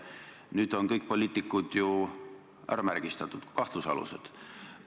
Nüüd on kõik poliitikud ju ära märgistatud, kahtlusalused.